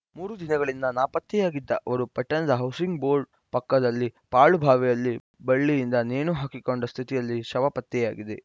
ಮೂರು ದಿನಗಳಿಂದ ನಾಪತ್ತೆಯಾಗಿದ್ದ ಅವರು ಪಟ್ಟಣದ ಹೌಸಿಂಗ್‌ ಬೋರ್ಡ್‌ ಪಕ್ಕದಲ್ಲಿನ ಪಾಳು ಬಾವಿಯಲ್ಲಿ ಬಳ್ಳಿಯಿಂದ ನೇಣು ಹಾಕಿಕೊಂಡ ಸ್ಥಿತಿಯಲ್ಲಿ ಶವ ಪತ್ತೆಯಾಗಿದೆ